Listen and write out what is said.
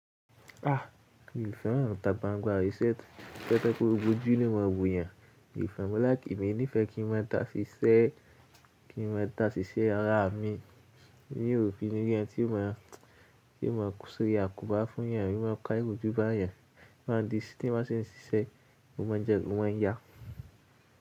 Ah! Mi ò fẹ́ràn ìtà gbangba tó yẹ pé gbógbo jú ní o maa wò eyàn, mó láikì, emí ní ìfẹ́ kí n maa dàṣiṣẹ́ ara mi. T'eyan o fi ni tí ó máa sórí àkóbá fún yàn, i máa ń ka irójú bá yàn, wọ́n á di sí tí wọ́n ṣe ń ṣiṣẹ́, mo máa jẹun, ó máa ń yá.